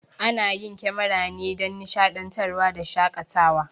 Ana yin kemara ne dan nishaɗantar wa da shakatawa